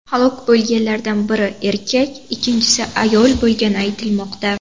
Halok bo‘lganlardan biri erkak, ikkinchisi ayol bo‘lgani aytilmoqda.